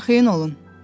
Arxayın olun.